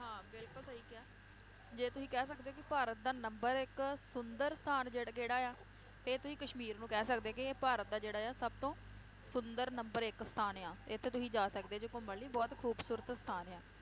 ਹਾਂ ਬਿਲਕੁਲ ਸਹੀ ਕਿਹਾ ਜੇ ਤੁਸੀਂ ਕਹਿ ਸਕਦੇ ਹੋ ਕਿ ਭਾਰਤ ਦਾ number ਇਕ ਸੁੰਦਰ ਸਥਾਨ ਜਿਹੜ~ ਕੇਹੜਾ ਆ, ਫੇਰ ਤੁਸੀਂ ਕਸ਼ਮੀਰ ਨੂੰ ਕਹਿ ਸਕਦੇ ਕਿ ਇਹ ਭਾਰਤ ਦਾ ਜਿਹੜਾ ਆ ਸਬਤੋਂ ਸੁੰਦਰ number ਇੱਕ ਸਥਾਨ ਆ ਇਥੇ ਤੁਸੀਂ ਜਾ ਸਕਦੇ ਹੋ ਜੇ ਘੁੰਮਣ ਲਈ ਬਹੁਤ ਖੂਬਸੂਰਤ ਸਥਾਨ ਆ